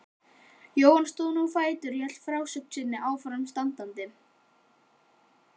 Jóhann stóð nú á fætur og hélt frásögninni áfram standandi